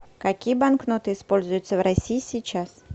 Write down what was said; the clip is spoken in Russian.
какие банкноты используются в россии сейчас